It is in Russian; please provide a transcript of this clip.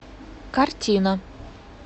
картина